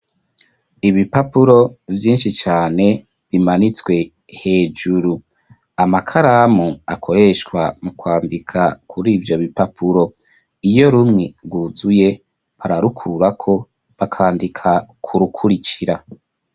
Ibipapuro, vyinshi cane, bimanitswe hejuru; amakaramu, akoreshwa mu kwandika, kuri ivyo bipapuro; iyo rumwe, rwuzuye, bararukurako, bakandika ku rukurikira.